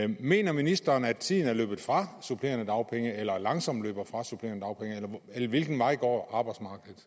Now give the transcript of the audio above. mener ministeren at tiden er løbet fra supplerende dagpenge eller langsomt løber fra supplerende dagpenge eller hvilken vej går